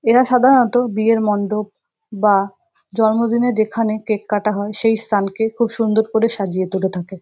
এরা সাধারণত বিয়ের মন্ডপ বা জন্মদিনের যেখানে কেক কাটা হয় সেই স্থানকে খুব সুন্দর করে সাজিয়ে তুলে থাকে।